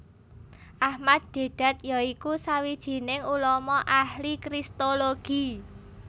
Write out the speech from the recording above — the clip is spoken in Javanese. Ahmad Deedat ya iku sawijining ulama ahli kristologi